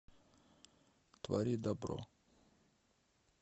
твори добро